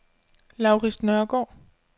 Laurids Nørgård